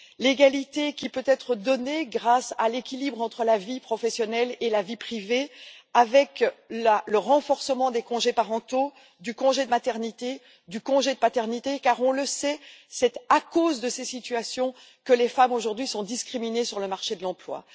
L'égalité qui peut être obtenue grâce à l'équilibre entre la vie professionnelle et la vie privée par le renforcement des congés parentaux, du congé de maternité ou de paternité car, comme on le sait, c'est à cause de ces situations que les femmes sont aujourd'hui discriminées sur le marché de l'emploi.